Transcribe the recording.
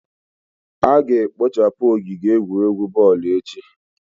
a ga-ekpochapu ogige egwuregwu boolu echi